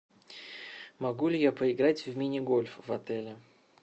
могу ли я поиграть в мини гольф в отеле